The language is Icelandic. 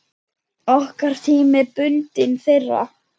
Okkar tími er bundinn þeirra.